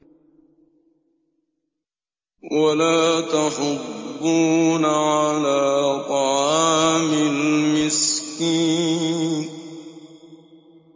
وَلَا تَحَاضُّونَ عَلَىٰ طَعَامِ الْمِسْكِينِ